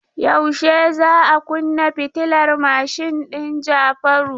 Yaushe za a kunna fitilar mashin din Jafaru?